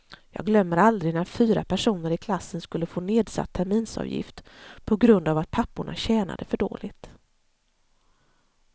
Jag glömmer aldrig när fyra personer i klassen skulle få nedsatt terminsavgift på grund av att papporna tjänade för dåligt.